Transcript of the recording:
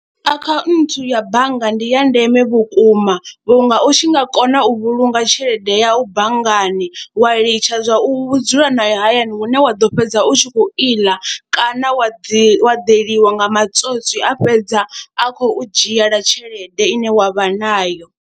Akhaunthu ya bannga ndi ya ndeme vhukuma vhunga u tshi nga kona u vhulunga tshelede yau banngani wa litsha zwa u dzula nayo hayani hune wa ḓo fhedza u tshi khou iḽa kana wa ḓi, wa ḓeliwa nga matswotswi a fhedza a khou dzhiela tshelede ine wa vha nayo.